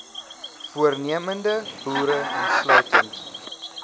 voornemende boere insluitend